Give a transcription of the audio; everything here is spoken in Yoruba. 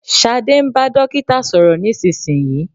Sade ń bá dókítà sọ̀rọ̀ nísinsìnyí